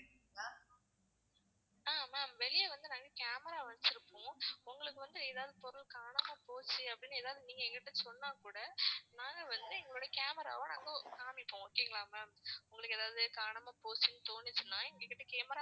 ஆஹ் ma'am வெளிய வந்து நாங்க camera வச்சிருப்போம். உங்களுக்கு வந்து எதாவது பொருள் காணாம போச்சு அப்படின்னு எதாவது நீங்க எங்க கிட்ட சொன்னாக் கூட நாங்க வந்து எங்களுடைய camera வை நாங்க காமிப்போம் okay ங்களா ma'am உங்களுக்கு ஏதாவது காணாம போச்சுன்னு தோணுச்சுன்னா எங்க கிட்ட camera